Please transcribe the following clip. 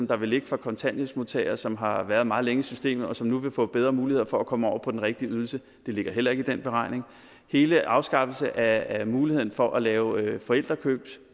der vil ligge for kontanthjælpsmodtagere som har været meget længe i systemet og som nu vil få bedre mulighed for at komme over på den rigtige ydelse ligger heller ikke i den beregning hele afskaffelsen af muligheden for at lave forældrekøb